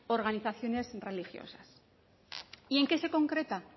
organizaciones religiosas y en qué se concreta